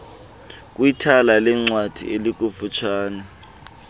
kwithala leencwadi elikufutshane